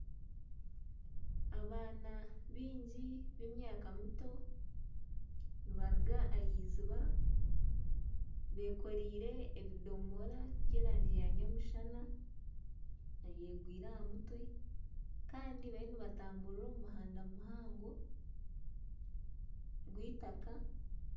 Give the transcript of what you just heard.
Abaana baingi b'emyaka mito nibaruga ah'eiziiba bekoreire ebidoomora by'erangi y'omushana babyegwire aha mutwe kandi bariyo nibatamburira omu muhanda muhango gw'eitaaka.